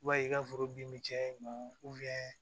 I b'a ye i ka foro bin bɛ caya i bolo